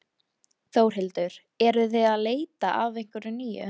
Þórhildur: Eruð þið að leita að einhverju nýju?